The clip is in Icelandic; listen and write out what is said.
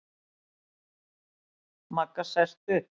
Magga sest upp.